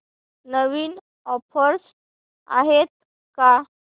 नवीन offers आहेत का